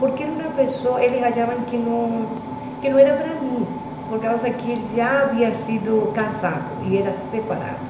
Porque era uma pessoa, eles achavam que não que não era para mim, por causa que ele já havia sido casado e era separado.